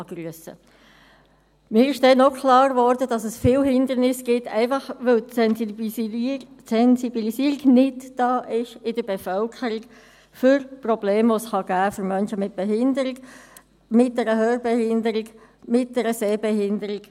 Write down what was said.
Mir wurde damals auch klar, dass es viele Hindernisse gibt, einfach, weil in der Bevölkerung die Sensibilisierung für Probleme nicht da ist, die es für Menschen mit Behinderung geben kann – mit einer Hörbehinderung, mit einer Sehbehinderung.